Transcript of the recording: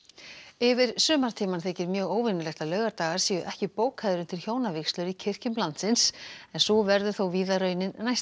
yfir sumartímann þykir mjög óvenjulegt að laugardagar séu ekki bókaðir undir hjónavígslur í kirkjum landsins en sú verður þó víða raunin næsta